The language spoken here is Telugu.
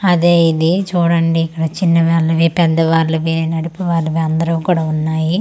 అదే ఇది చూడండి ఇక్కడ చిన్న వాళ్ళవి పెద్ద వాళ్ళవి నడిపి వాళ్ళవి అందరివి కూడా ఉన్నాయి చు--